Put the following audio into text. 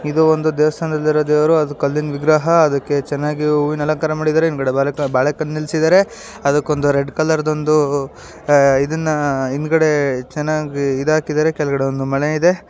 ಇದು ಒಂದು ದೇವಸ್ಥಾನದಲ್ಲಿ ಇರೋ ದೇವರು. ಅದು ಕಲ್ಲಿನ ವಿಗ್ರಹ. ಅದಕ್ಕೆ ಚೆನ್ನಾಗಿ ಹೂವಿನ ಅಲಂಕಾರ ಮಾಡಿದರೆ. ಹಿಂದ್ಗಡೆ ಬಾಳೆ ಬಾಳೆಕಂದ್ ನಿಲ್ಸಿದಾರೆ. ಅದಕ್ಕ್ ಒಂದ್ ರೆಡ್ ಕಲರ್ ದ್ ಒಂದು ಅಹ್ ಇದನ್ನ ಹಿಂದ್ಗಡೆ ಚೆನ್ನಾಗಿ ಇದ್ ಹಾಕಿದ್ದಾರೆ. ಕೆಳಗಡೆ ಒಂದು ಮನೆ ಇದೆ.